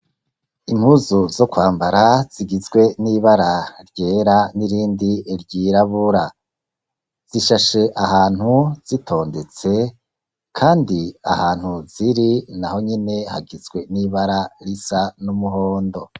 Impuzu zo kwambara zigizwe n'ibara ryera n'irindi ry'irabura zishashe ahantu zitondetse kandi ahantu ziri naho nyine hagizwe n'ibara risa n'umuhondo.